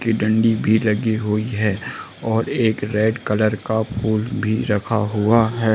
की दंडी भी लगी हुई है और एक रेड कलर का फूल भी रखा हुआ है।